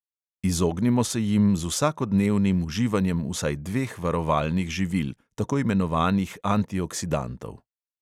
Izognimo se jim z vsakodnevnim uživanjem vsaj dveh varovalnih živil, tako imenovanih antioksidantov.